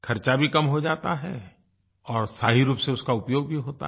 ख़र्चा भी कम हो जाता है और सही रूप से उसका उपयोग भी होता है